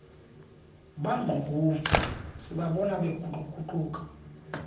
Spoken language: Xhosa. bangqukuva sibabona beguquguquka